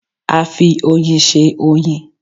A fi oyin se oyin